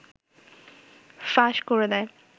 ফাঁস করে দেয়